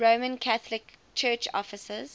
roman catholic church offices